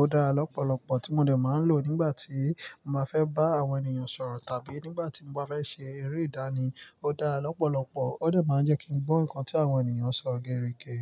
ó dára lọ́pọ̀lọpọ̀ tí mo dè máa ń lò nígbà tí mo máa fẹ́ bá àwọn ènìyàn sọ̀rọ̀ tàbí nígbà tí mo bá fẹ́ ṣe eré ìdánì. Ó dára lọ́pọ̀lọpọ̀, ó dè máa ń jẹ́ kí n gbó nnkan tí àwọn ènìyàn ń sọ gerege.